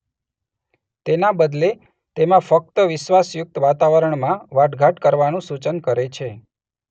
તેના બદલે તેમાં ફક્ત વિશ્વાસયુક્ત વાતાવરણમાં વાટઘાટ કરવાનું સૂચન કરે છે.